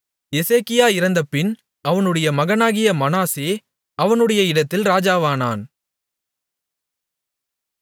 எசேக்கியா இறந்தபின் அவனுடைய மகனாகிய மனாசே அவனுடைய இடத்தில் ராஜாவானான்